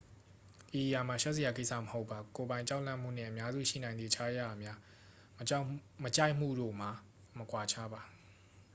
ဤအရာမှာ ရှက်စရာကိစ္စမဟုတ်ပါ ကိုယ်ပိုင်ကြောက်လန့်မှုနှင့် အများစုရှိနိုင်သည့် အခြားအရာများ မကြိုက်မှုတို့မှာ မကွာခြားပါ